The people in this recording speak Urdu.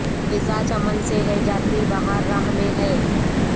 خزاں چمن سے ہے جاتی بہار راہ میں ہے